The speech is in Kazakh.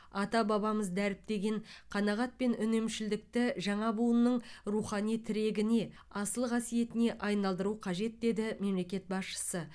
ата бабамыз дәріптеген қанағат пен үнемшілдікті жаңа буынның рухани тірегіне асыл қасиетіне айналдыру қажет деді мемлекет басшысы